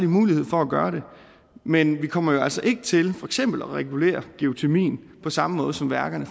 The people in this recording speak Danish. mulighed for at gøre det men vi kommer jo altså ikke til eksempel at regulere geotermien på samme måde som værkerne